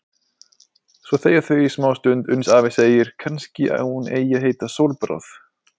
Svo þegja þau í smástund uns afi segir: Kannski hún eigi að heita Sólbráð.